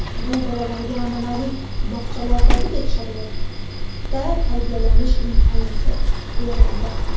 Bu bolalarga an’anaviy bog‘chalardagidek sharoitda tarbiyalanish imkonini beradi.